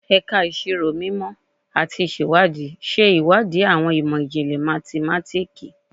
Ẹka Iṣiro Mimọ ati Iṣewadii ṣe iwadii awọn imọ-jinlẹ mathematiki